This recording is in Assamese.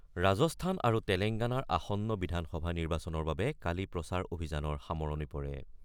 ৰাজস্থান আৰু তেলেংগানাৰ আসন্ন বিধানসভা নিৰ্বাচনৰ বাবে কালি প্ৰচাৰ অভিযানৰ সামৰণি পৰে।